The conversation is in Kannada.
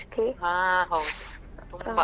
ಹಾ ಹೌದು